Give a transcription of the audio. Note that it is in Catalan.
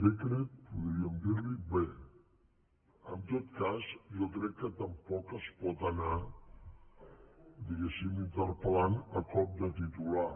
decretpodríem dir ne que tampoc es pot anar diguéssim interpel·lant a cop de titular